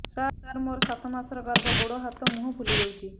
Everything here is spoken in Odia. ସାର ମୋର ସାତ ମାସର ଗର୍ଭ ଗୋଡ଼ ହାତ ମୁହଁ ଫୁଲି ଯାଉଛି